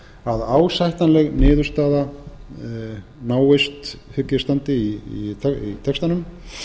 að ásættanleg niðurstaða næðist náist hygg eg standi í textanum